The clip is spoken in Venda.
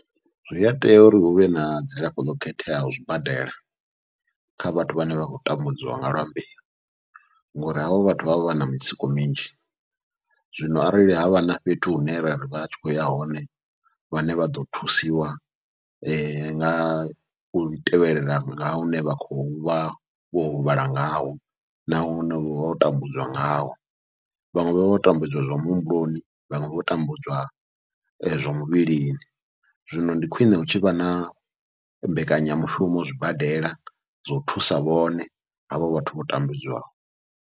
Zwi a tea uri huvhe na dzilafho ḽo khetheaho zwibadela kha vhathu vhane vha khou tambudziwa nga lwa mbeu, ngori havho vhathu vha vha vha na mitsiko minzhi zwino arali havha na fhethu hune ra ri vhatshi khou ya hone vhane vha ḓo thusiwa ngau tevhelela nga hune vha khou vha vho huvhala ngaho, na hune vha vho tambudzwa ngawo vhaṅwe vha vha vha tambudziwa zwa muhumbuloni vhaṅwe vho tambudziwa zwa muvhilini. Zwino ndi khwiṋe hu tshivha na mbekanyamushumo zwibadela zwo thusa vhone havha vhathu vho tambudzwaho.